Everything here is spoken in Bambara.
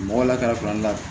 Mɔgɔ lakari la